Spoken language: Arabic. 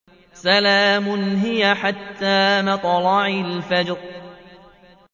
سَلَامٌ هِيَ حَتَّىٰ مَطْلَعِ الْفَجْرِ